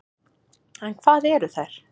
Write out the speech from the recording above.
En hvað eru þær?